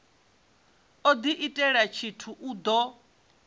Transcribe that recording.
u diitela tshithu i do